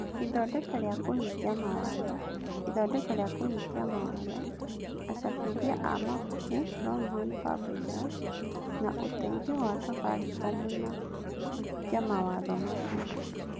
Ithondeka rĩa kũhingia mawatho: Ithondeka rĩa kũhingia mawatho: Acabithia a mabuku (Longhorn Publishers), na ũteithio wa Safaricom wa kũhingia mawatho macio.